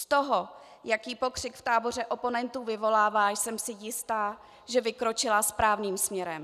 Z toho, jaký pokřik v táboře oponentů vyvolává, jsem si jista, že vykročila správným směrem.